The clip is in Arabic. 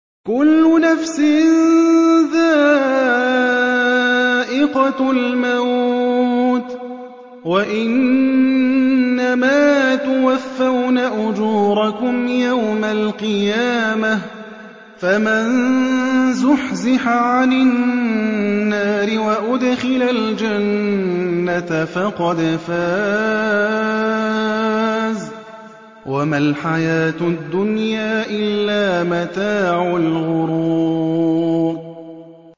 كُلُّ نَفْسٍ ذَائِقَةُ الْمَوْتِ ۗ وَإِنَّمَا تُوَفَّوْنَ أُجُورَكُمْ يَوْمَ الْقِيَامَةِ ۖ فَمَن زُحْزِحَ عَنِ النَّارِ وَأُدْخِلَ الْجَنَّةَ فَقَدْ فَازَ ۗ وَمَا الْحَيَاةُ الدُّنْيَا إِلَّا مَتَاعُ الْغُرُورِ